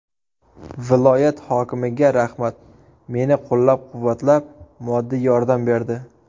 Viloyat hokimiga rahmat, meni qo‘llab-quvvatlab, moddiy yordam berdi.